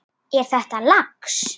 Er þetta lax?